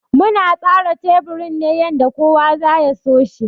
Muna tsara teburin ne yanda kowa za ya so shi.